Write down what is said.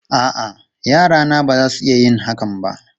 A'a, yarana ba za su iya yin hakan ba.